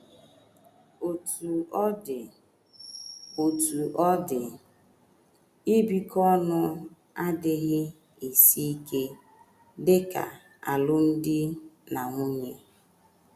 Otú ọ dị Otú ọ dị, ibikọ ọnụ adịghị esi ike dị ka alụmdi na nwunye.